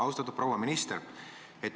Austatud proua minister!